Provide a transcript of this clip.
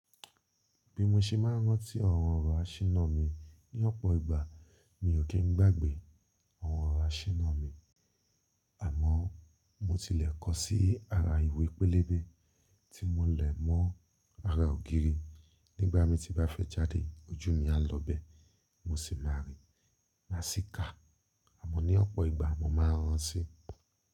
Bí mo ṣe máa ń rántí awon ọrọ̀ áṣina mi ní ọ̀pọ̀ ìgbà, mi ò kí ń gbàgbé awon ọrọ̀ áṣinà mi. Àmọ́ mo tilẹ̀ kọ sí ara ìwé pélébé tí mo lè mọ́ ara ògiri. Nígbà mi tí bá fẹ́ jáde, ojú mi á lọ bẹ́ẹ̀, mo sì máa rí, máa sì kà. Àmọ́ ní ọ̀pọ̀ ìgbà mo máa ránti.